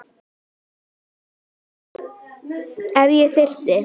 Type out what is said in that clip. Ef ég þyrfti.